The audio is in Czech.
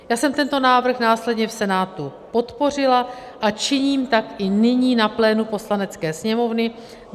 Já jsem tento návrh následně v Senátu podpořila a činím tak i nyní na plénu Poslanecké sněmovny.